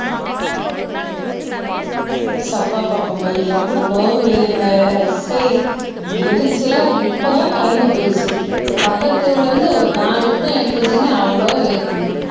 எவ்வளவு வேர்வை சை எனக்கு எரிச்சலா இருக்கு இப்பதான் கரண்ட் போயிடுச்சு இந்த பக்கத்து தெருவுல இருந்து ஒரு நாலு எட்டுதான் எடுத்து வச்சிருக்கேன் அவ்வளவு வேர்க்குது